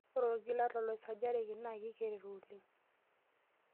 Ore orgilata loisajareki na keikerere oleng?